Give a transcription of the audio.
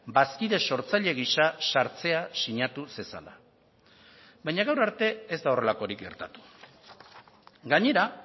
bazkide sortzaile gisa sartzea sinatu zezala baina gaur arte ez da horrelakorik gertatu gainera